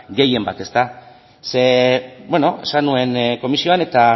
gehienbat ze esan nuen komisioan eta